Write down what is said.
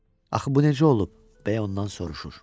Axı bu necə olub, B ondan soruşur.